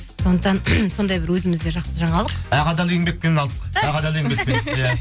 сондықтан сондай бір өзімізде жақсы жаңалық ақ адал еңбекпен алдық ақ адал еңбекпен иә